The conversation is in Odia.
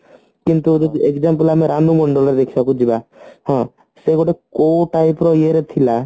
କିନ୍ତୁ ଏବେ example ଆମର ଆମେ ମନ୍ଦିର ଦେଖିବାକୁ ଯିବା ହଁ ସେ ଗୋଟେ କୋଉ type ଏ ଇଏରେ ଥିଲା